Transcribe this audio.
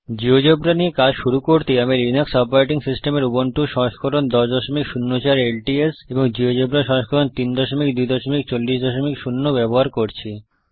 GeoGebra নিয়ে কাজ শুরু করতে আমি লিনাক্স অপারেটিং সিস্টেমের উবুন্টু সংস্করণ 1004 ল্টস এবং জীয়োজেব্রা সংস্করণ 32400 ব্যবহার করছি